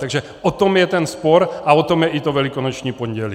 Takže o tom je ten spor a o tom je i to Velikonoční pondělí.